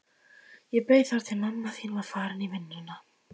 Ég beið þar til mamma þín var farin í vinnuna.